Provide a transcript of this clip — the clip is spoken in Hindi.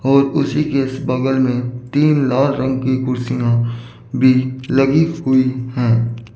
और उसी के बगल में तीन लाल रंग की कुर्सियां भी लगी हुई है।